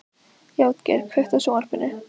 Játgeir, kveiktu á sjónvarpinu.